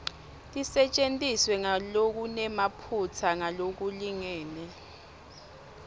tisetjentiswe ngalokunemaphutsa ngalokulingene